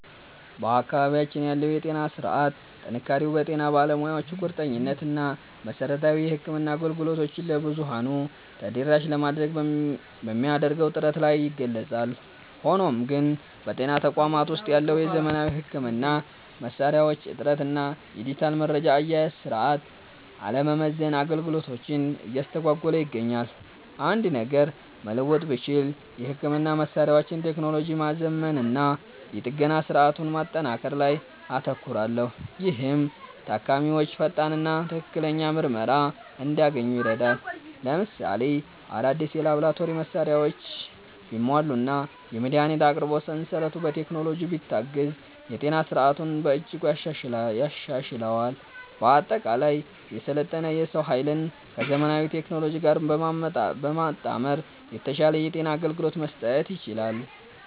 በአካባቢያችን ያለው የጤና ሥርዓት ጥንካሬው በጤና ባለሙያዎቹ ቁርጠኝነት እና መሠረታዊ የሕክምና አገልግሎቶችን ለብዙኃኑ ተደራሽ ለማድረግ በሚደረገው ጥረት ላይ ይገለጻል። ሆኖም ግን፣ በጤና ተቋማት ውስጥ ያለው የዘመናዊ ሕክምና መሣሪያዎች እጥረት እና የዲጂታል መረጃ አያያዝ ሥርዓት አለመዘመን አገልግሎቱን እያስተጓጎለ ይገኛል። አንድ ነገር መለወጥ ብችል፣ የሕክምና መሣሪያዎችን ቴክኖሎጂ ማዘመንና የጥገና ሥርዓቱን ማጠናከር ላይ አተኩራለሁ፤ ይህም ታካሚዎች ፈጣንና ትክክለኛ ምርመራ እንዲያገኙ ይረዳል። ለምሳሌ፣ አዳዲስ የላቦራቶሪ መሣሪያዎች ቢሟሉና የመድኃኒት አቅርቦት ሰንሰለቱ በቴክኖሎጂ ቢታገዝ የጤና ሥርዓቱን በእጅጉ ያሻሽለዋል። በአጠቃላይ፣ የሰለጠነ የሰው ኃይልን ከዘመናዊ ቴክኖሎጂ ጋር በማጣመር የተሻለ የጤና አገልግሎት መስጠት ይቻላል።